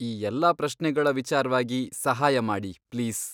ಈ ಎಲ್ಲ ಪ್ರಶ್ನೆಗಳ ವಿಚಾರ್ವಾಗಿ ಸಹಾಯ ಮಾಡಿ ಪ್ಲೀಸ್.